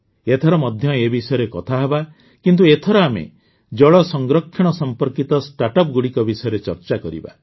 ଏଥର ମଧ୍ୟ ଏ ବିଷୟରେ କଥା ହେବା କିନ୍ତୁ ଏଥର ଆମେ ଜଳ ସଂରକ୍ଷଣ ସମ୍ପର୍କିତ ଷ୍ଟାର୍ଟଅପ ଗୁଡ଼ିକ ବିଷୟରେ ଚର୍ଚ୍ଚା କରିବା